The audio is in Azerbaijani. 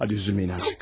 Hadi üzülməyin artıq.